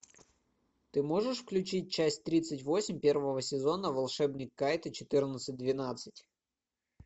ты можешь включить часть тридцать восемь первого сезона волшебник кайто четырнадцать двенадцать